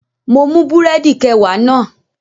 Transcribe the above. Mo mú búrẹ̀dì kẹwàá náà